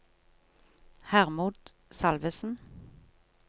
Hermod Salvesen